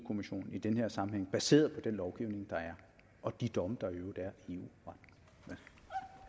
kommissionen i den her sammenhæng baseret på den lovgivning der er og de domme der i øvrigt